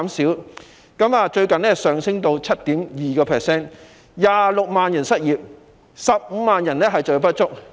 最近，失業率更上升至 7.2%，26 萬人失業 ，15 萬人就業不足。